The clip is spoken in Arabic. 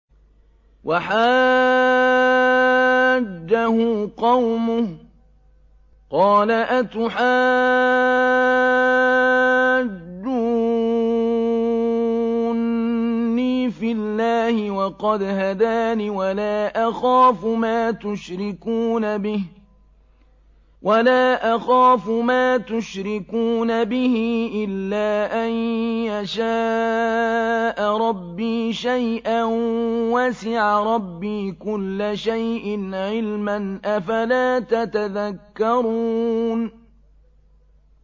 وَحَاجَّهُ قَوْمُهُ ۚ قَالَ أَتُحَاجُّونِّي فِي اللَّهِ وَقَدْ هَدَانِ ۚ وَلَا أَخَافُ مَا تُشْرِكُونَ بِهِ إِلَّا أَن يَشَاءَ رَبِّي شَيْئًا ۗ وَسِعَ رَبِّي كُلَّ شَيْءٍ عِلْمًا ۗ أَفَلَا تَتَذَكَّرُونَ